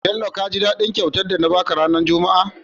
Bello kaji dadin kyautar da na baka ranar juma a?